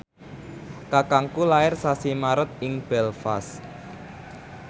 kakangku lair sasi Maret ing Belfast